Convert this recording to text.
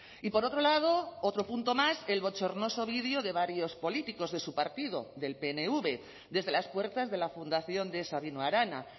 y por otro lado otro punto más el bochornoso vídeo de varios políticos de su partido del pnv desde las puertas de la fundación de sabino arana